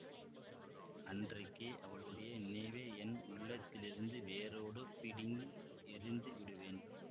அன்றைக்கே அவளுடைய நினைவை என் உள்ளத்திலிருந்து வேரோடு பிடுங்கி எறிந்து விடுவேன்